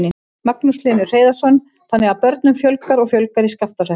Magnús Hlynur Hreiðarsson: Þannig að börnum fjölgar og fjölgar í Skaftárhreppi?